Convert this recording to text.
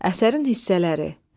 Əsərin hissələri.